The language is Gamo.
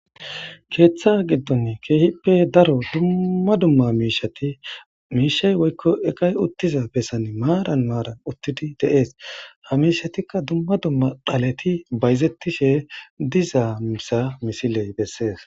Keeththa giddon keehippe daro dumma dumma miishati miishay woykko eqay uttiza bessan maaran maara uttidi dees .Ha miishatikka dumma dumma baleti bayzettishe diza misha misiley bessees.